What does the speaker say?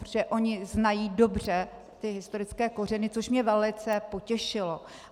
Protože oni znají dobře ty historické kořeny, což mě velice potěšilo.